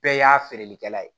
Bɛɛ y'a feereli kɛla ye